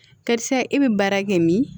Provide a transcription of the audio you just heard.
Karisa e bɛ baara kɛ min